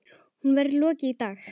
Honum verður lokið í dag.